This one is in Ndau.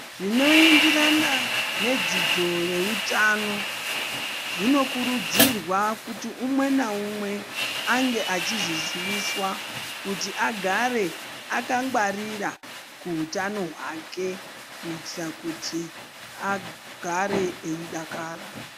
Zvinoenderana nedzidzo yeutano zvinokurudzirwa kuti umwe neumwe ange achizviziviswa kuti agare akangwarira kuutano hwake kuitire kuti agare eidakara.